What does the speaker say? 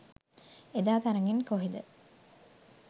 එදා තරගෙන් කොහෙද